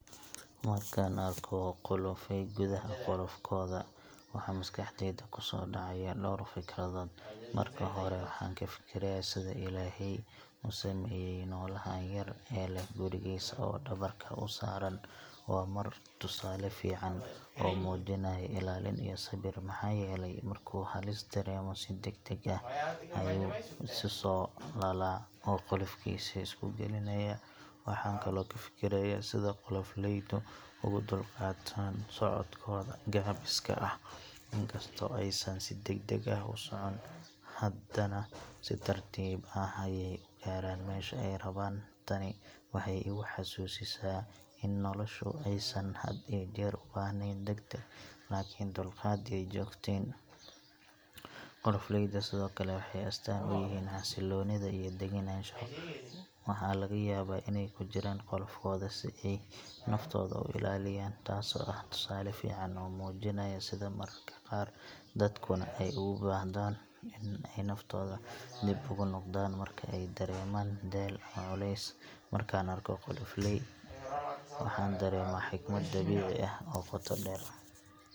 Markaan arko qolofoley gudaha qolofkooda, waxaa maskaxdayda ku soo dhacaya dhowr fikradood. Marka hore, waxaan ka fikirayaa sida Ilaahay u sameeyay noolahan yar ee leh gurigiisa oo dhabarka u saaran. Waa tusaale fiican oo muujinaya ilaalin iyo sabir, maxaa yeelay markuu halis dareemo, si degdeg ah ayuu isu soo laalaa oo qolofkiisa isku gelinaya. Waxaan kale oo ka fikirayaa sida qolofoleydu ugu dulqaataan socodkooda gaabiska ah. Inkastoo aysan si degdeg ah u socon, haddana si tartiib ah ayay u gaaraan meesha ay rabaan. Tani waxay igu xasuusisaa in noloshu aysan had iyo jeer u baahnayn deg-deg, laakiin dulqaad iyo joogteyn. Qolofoleyda sidoo kale waxay astaan u yihiin xasillooni iyo degganaansho. Waxaa laga yaabaa inay ku jiraan qolofkooda si ay naftooda u ilaaliyaan, taasoo ah tusaale fiican oo muujinaya sida mararka qaar dadkuna ay uga baahdaan in ay naftooda dib ugu noqdaan marka ay dareemaan daal ama culeys. Markaan arko qolofoley, waxaan dareemaa xikmad dabiici ah oo qoto dheer.